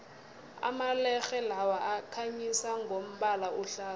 amalerhe lawa akhanyisa ngombala ohlaza